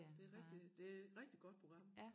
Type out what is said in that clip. Det rigtig det rigtig godt program